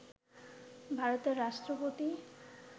ভারতের রাষ্ট্রপতি